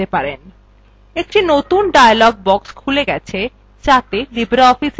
একটি নতুন dialog box খুলে গেছে যাতে libreofficeএর বিভিন্ন অংশ দেখা যাচ্ছে